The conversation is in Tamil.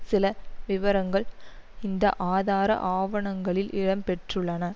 சில விபரங்கள் இந்த ஆதார ஆவணங்களில் இடம் பெற்றுள்ளன